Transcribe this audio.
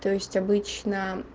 то есть обычно